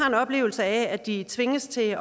en oplevelse af at de tvinges til